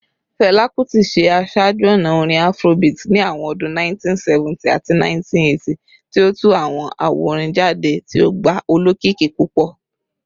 Fẹla Kuti ṣe aṣaaju-ọna orin Afrobeat ni awọn ọdun 1970 ati 1980, ti o tu awọn awo-orin jade ti o gba olokiki pupọ.